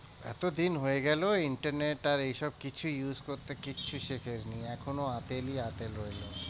এতদিন হয়ে গেলো internet আর এই সব কিছু used করতে কিচ্ছু শিখিসনি এখনো রয়ে গেছে।